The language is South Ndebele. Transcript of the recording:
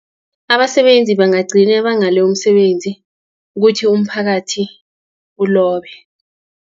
Abasebenzi bangagcine banghale umsebenzi, kuthi umphakathi ulobe.